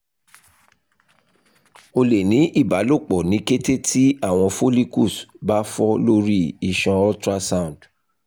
o le ni ibalopo ni kete ti awọn follicles ba fọ lori iṣan ultrasound